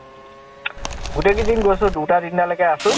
গোটেই কেইদিন গৈছো। দুটা তিনটা লৈকে আছো